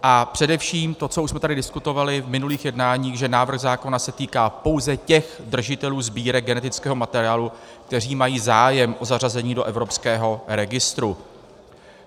A především to, co už jsme tady diskutovali v minulých jednáních, že návrh zákona se týká pouze těch držitelů sbírek genetického materiálu, kteří mají zájem o zařazení do evropského registru.